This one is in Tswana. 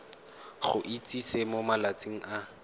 go itsise mo malatsing a